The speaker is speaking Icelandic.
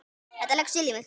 Þetta leggst vel í mig.